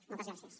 moltes gràcies